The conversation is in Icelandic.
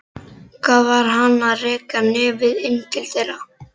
Hvað var hann að reka nefið inn til þeirra?